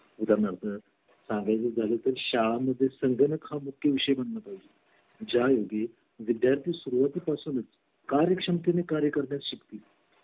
आणि गंमत म्हणून तुला सांगू का मुले एकमेकांच्या डब्याकडे खूप नजर असते बर का आणि ही माझा मुलगा पण आता तेरा वर्षाचा आहे सेवेन स्टॅंडर्ड ला आहे आज माझ्या मित्रांनी हे आणलं होतं ते आणलं होतं